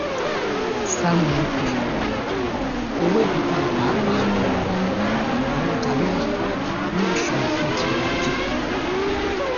sam onukwe owó ìdókòówò pàápàá àwọn ọjà rírà ni òṣùwọn fún ètò ọrọ-ajé